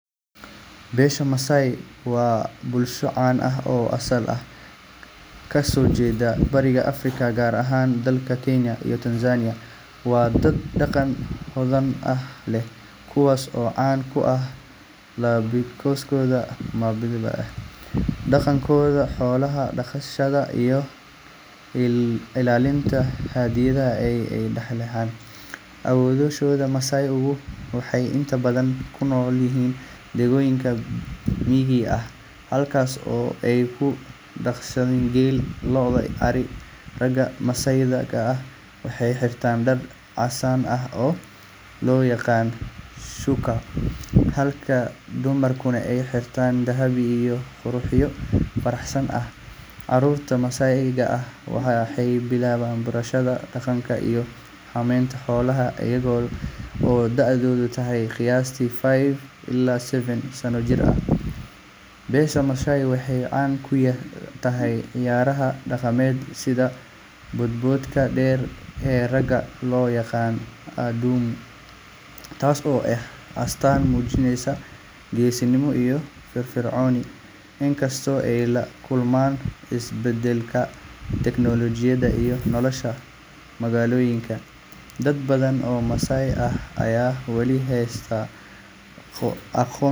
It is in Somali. Beesha Masaai waa bulsho caan ah oo asal ahaan ka soo jeeda bariga Afrika, gaar ahaan dalalka Kenya iyo Tanzania. Waa dad dhaqan hodan ah leh, kuwaas oo caan ku ah labiskooda midabada leh, dhaqankooda xoolo-dhaqashada, iyo ilaalinta hiddaha ay ka dhaxleen awoowayaashood. Masaai-gu waxay inta badan ku nool yihiin deegaanno miyiga ah, halkaas oo ay ku dhaqdaan geel, lo’, iyo ari. Ragga Masaai-ga ah waxay xirtaan dhar casaan ah oo loo yaqaan shÃºkÃ, halka dumarkuna ay xiraan dahab iyo qurxiyo farshaxan ah. Carruurta Masaai-ga ah waxay bilaabaan barashada dhaqanka iyo xanaaneynta xoolaha iyaga oo da’doodu tahay qiyaastii five ilaa seven sano jir. Beesha Masaai waxay caan ku tahay ciyaaraha dhaqameed sida boodboodka dheer ee ragga loo yaqaan adumu, taas oo ah astaan muujinaysa geesinimo iyo firfircooni. Inkastoo ay la kulmaan isbeddelka tiknoolajiga iyo nolosha magaalooyinka, dad badan oo Masaai ah ayaa wali haysta dhaqankooda.